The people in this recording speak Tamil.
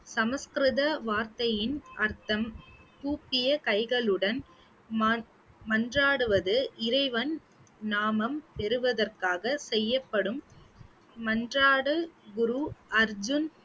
சமஸ்கிருத வார்த்தையின் அர்த்தம் கூப்பிய கைகளுடன் மன்~ மன்றாடுவது இறைவன் நாமம் பெறுவதற்காக செய்யப்படும் மன்றாட குரு அர்ஜூன்